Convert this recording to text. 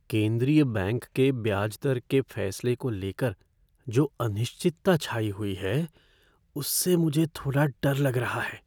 केंद्रीय बैंक के ब्याज दर के फैसले को लेकर जो अनिश्चितता छाई हुई है उससे मुझे थोड़ा डर लग रहा है।